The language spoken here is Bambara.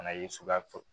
Fana ye suguya fɔ